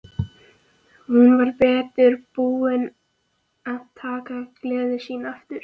Hún var heldur betur búin að taka gleði sína aftur.